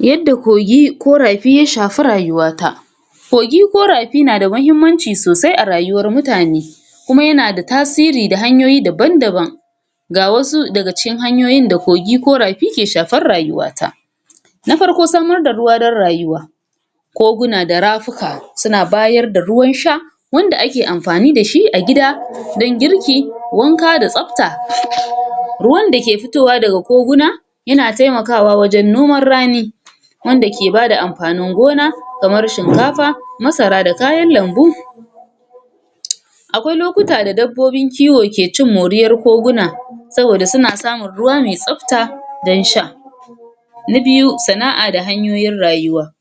Yadda kogi ko rafi ya shafi rayuwata kogi ko rafi nada mahimmanci sosai a rayuwar mutane, kuma yanada tasiri da hanyoyi daban daban ga wasu daga cikin hanyoyin da kogi ko rafi ke shafar rayuwata: Na farko samarda ruwa dan rayuwa koguna da rafuka suna bayar da ruwan sha, wanda ak amfani da shi a gida dan girki, wanka da tsafta, ruwan da ke fitowa daga koguna yana taimakawa wajen noman rani, wanda ke bada amfanin gona kamar: Shinkafa, masara da kayan lambu, akwai lokuta da dabbobin kiwo ke cin moriyar koguna, saboda suna samun ruwa me tsafta dan sha. Na biyu sana'a da hanyoyin rayuwa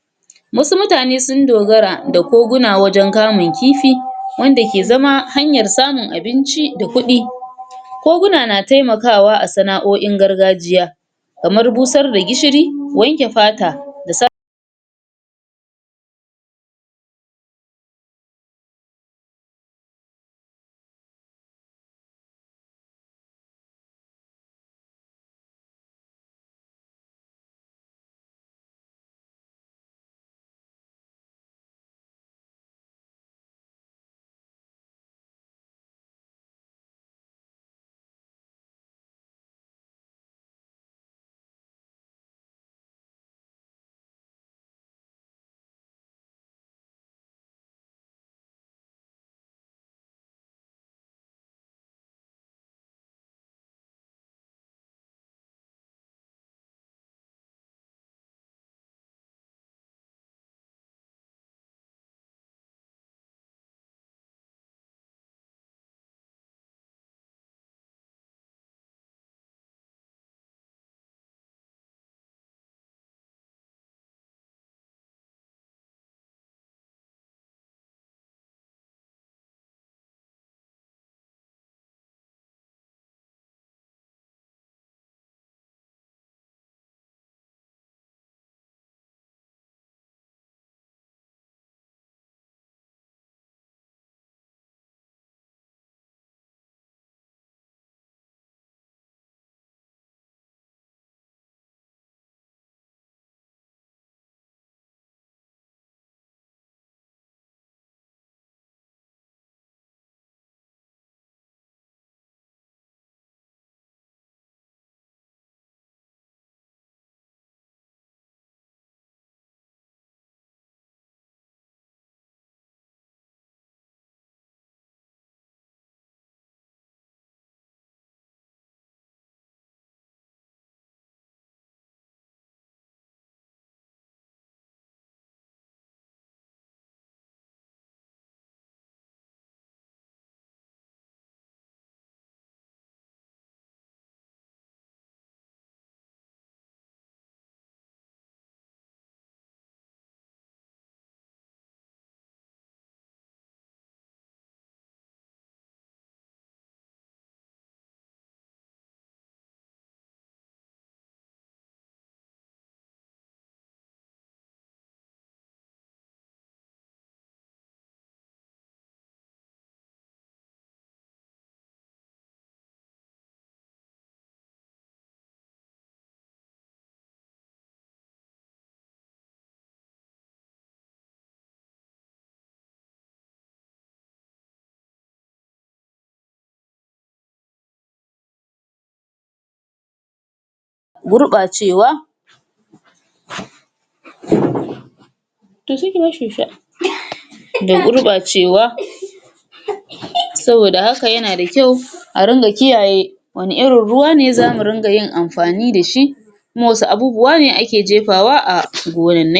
wasu mutane sun dogara da koguna wajen kamun kifi wanda ke zama hanyar samun abinci da kuɗi, koguna na taimakawa a sana'o'in gargajiya kamar busar da gishiri, wanke fata da sa gurɓacewa to se ki bashi ya sha da gurɓacewa saboda haka yana da kyau a ringa kiyaye wane irin ruwa ne zamu ringa yin amfani da shi kuma wasu abubuwa ne ake jefawa a koguwunnai.